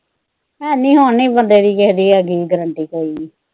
ਹੈ ਨੀ, ਹੁਣ ਹੈ ਨੀ ਹੈਗੀ ਬੰਦੇ ਦੀ ਕਿਸੇ ਦੀ ਗਰੰਟੀ ਕੋਈ ਵੀ।